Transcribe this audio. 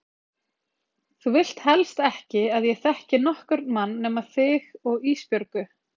Þú vilt helst ekki að ég þekki nokkurn mann nema þig og Ísbjörgu.